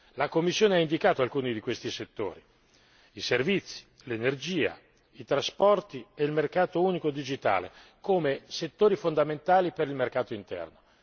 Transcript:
La Commissione ha indicato alcuni di questi settori, vale a dire i servizi, l'energia, i trasporti e il mercato unico digitale, come settori fondamentali per il mercato interno.